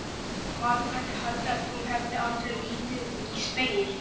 Maður gæti haldið að þú hefðir aldrei litið í spegil!